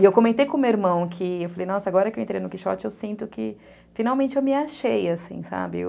E eu comentei com o meu irmão que, eu falei, nossa, agora que eu entrei no Quixote, eu sinto que finalmente eu me achei, assim, sabe? eu...